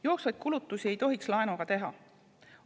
Jooksvaid kulutusi ei tohiks laenuga teha.